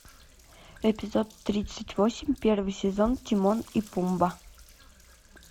эпизод тридцать восемь первый сезон тимон и пумба